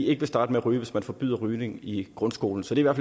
ikke vil starte med at ryge hvis man forbyder rygning i grundskolen så det er